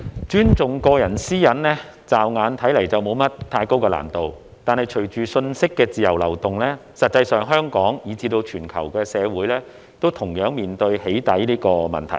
主席，尊重個人私隱，驟眼看似沒有太高難度，但隨着信息的自由流動，實際上，香港以至全球社會均同樣面對"起底"這個問題。